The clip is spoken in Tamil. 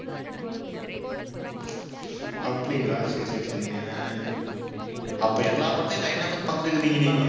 அப்படிங்களா சரி, சரி, சரிங்க அஹ் அப்ப எல்லா படத்தையும் line ஆ உட்கார்ந்து பார்த்திட்டிருக்கீங்க நீங்க?